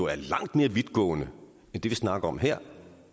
er langt mere vidtgående end det vi snakker om her